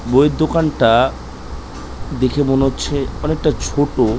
বই এর দোকানটা দেখে মনে হচ্ছে অনেকটা ছোটো।